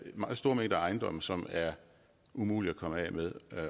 meget store mængder af ejendomme som er umulige at komme af med